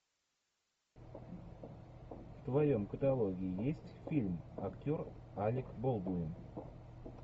в твоем каталоге есть фильм актер алек болдуин